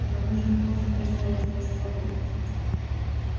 но мы же не можем таскать тебя с собой